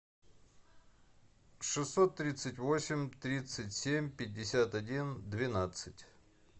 шестьсот тридцать восемь тридцать семь пятьдесят один двенадцать